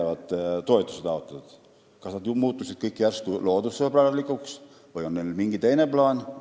Kas kõik taotlejad muutusid järsku loodussõbralikuks või on neil mingi teine plaan?